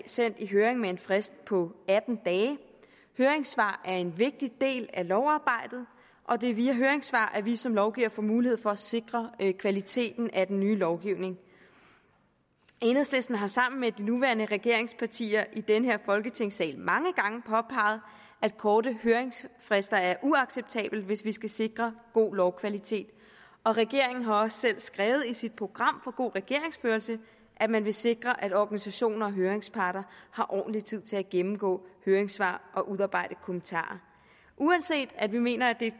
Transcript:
sendt i høring med en frist på atten dage høringssvar er en vigtig del af lovarbejdet og det er via høringssvar at vi som lovgivere får mulighed for at sikre kvaliteten af den nye lovgivning enhedslisten har sammen med de nuværende regeringspartier i den her folketingssal mange gange påpeget at korte høringsfrister er uacceptabelt hvis vi skal sikre god lovkvalitet og regeringen har også selv skrevet i sit program for god regeringsførelse at man vil sikre at organisationer og høringsparter har ordentlig tid til at gennemgå høringssvar og udarbejde kommentarer uanset at vi mener at det er